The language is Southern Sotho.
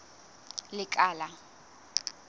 lekala